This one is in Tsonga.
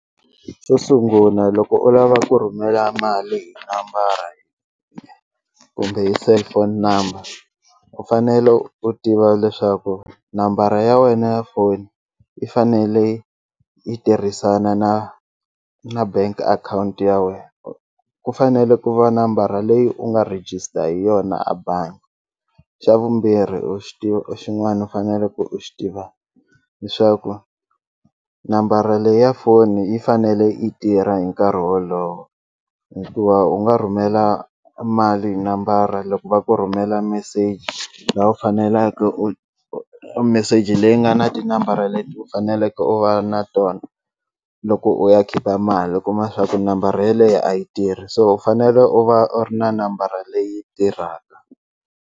Xo sunguna loko u lava ku rhumela mali hi nambara kumbe hi cellphone number u fanele u tiva leswaku nambara ya wena ya foni yi fanele yi tirhisana na na bank account ya wena ku fanele ku va nambara leyi u nga register hi yona a bangi xa vumbirhi u xi tiva u xin'wani u faneleke u xi tiva leswaku nambara leyi ya foni yi fanele yi tirha hi nkarhi wolowo hikuva u nga rhumela mali hi nambara loko va ku rhumela meseji laha u faneleke u meseji leyi nga na tinambara leti u faneleke u va na tona loko u ya khipa mali u kuma swaku nambara yeleyo a yi tirhi so u fanele u va u ri na nambara leyi tirhaka.